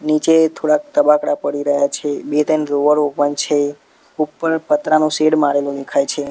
નીચે થોડાક તબાકડા પડી રહ્યા છે બે-ત્રણ ડ્રોવરો પણ છે ઉપર પતરાનો શેડ મારેલો દેખાય છે.